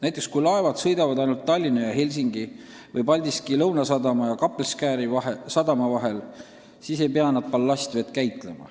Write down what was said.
Näiteks, kui laevad sõidavad ainult Tallinna ja Helsingi või Paldiski Lõunasadama ja Kappelskäri sadama vahel, siis ei pea nad ballastvett käitlema.